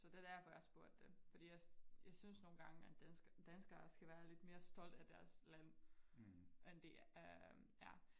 Så det derfor jeg spurgte dem fordi jeg jeg synes nogen gange at danskere danskere skal være lidt mere stolt af deres land end de er